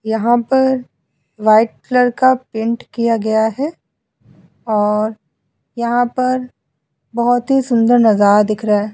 यहां पर white colour का पेंट किया गया है और यहां पर बोहोत ही सुंदर नजारा दिख रहा है।